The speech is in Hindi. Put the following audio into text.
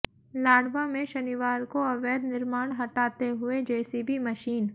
लाडवा में शनिवार को अवैध निर्माण हटाते हुए जेसीबी मशीन